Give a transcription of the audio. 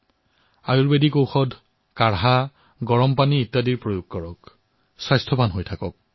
আয়ুৰ্বেদিক ঔষধ গৰম পানী এইসমূহৰ ব্যৱহাৰ কৰক সুস্থ হৈ থাকক